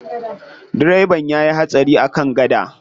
Direban ya yi hatsari a kan gada.